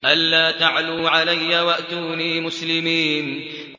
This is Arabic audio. أَلَّا تَعْلُوا عَلَيَّ وَأْتُونِي مُسْلِمِينَ